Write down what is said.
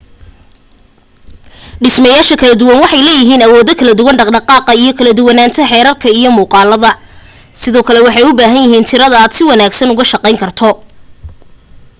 dhismayaasha kala duwan waxay leeyihiin awoodo kala duwan dhaqdhqaqa iyo kala duwanaanta xeerarka iyo muuqaalada sidoo kale waxay u baahan yahiin tirade aad si wanaagsan ugu shaqayn karto